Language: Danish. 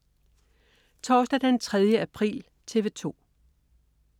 Torsdag den 3. april - TV 2: